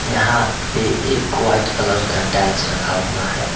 यहां पे एक व्हाइट कलर का टाइल्स रखा हुआ है।